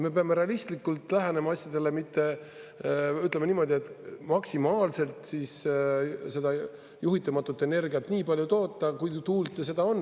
Me peame realistlikult lähenema asjadele, mitte, ütleme, niimoodi, et maksimaalselt seda juhitamatut energiat nii palju toota, kui tuult ja seda on.